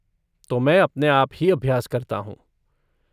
तो मैं अपने आप ही अभ्यास करता हूँ।